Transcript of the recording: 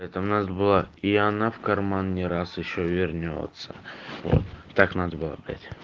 это у нас была и она в карман не раз ещё вернётся вот так надо было блять